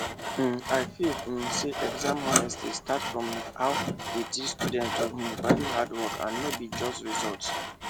um i feel um say exam honesty start from how we teach students to um value hard work and no be just result